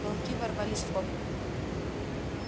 волки ворвались в комнату